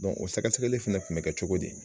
o sɛgɛsɛgɛli fɛnɛ kun bɛ kɛ cogo di.